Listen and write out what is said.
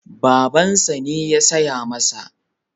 Babansa ne ya saya masa.